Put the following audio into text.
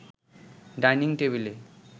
dining টেবিলে